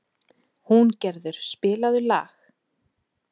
Húngerður, spilaðu lag.